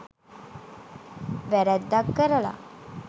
වැරැද්දක් කරලා